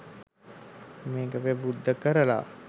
මේක ප්‍රබුද්ධ කරලා